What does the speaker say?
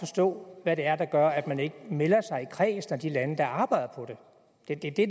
forstå hvad det er der gør at man ikke melder sig i kredsen af de lande der arbejder på det det